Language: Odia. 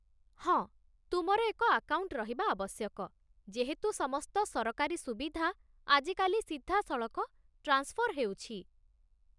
ହଁ, ତୁମର ଏକ ଆକାଉଣ୍ଟ ରହିବା ଆବଶ୍ୟକ, ଯେହେତୁ ସମସ୍ତ ସରକାରୀ ସୁବିଧା ଆଜିକାଲି ସିଧାସଳଖ ଟ୍ରାନ୍ସଫର ହେଉଛି।